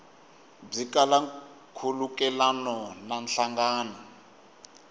byi kala nkhulukelano na nhlangano